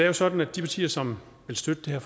jo sådan at de partier som vil støtte